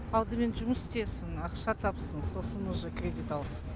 алдымен жұмыс істесін ақша тапсын сосын уже кредит алсын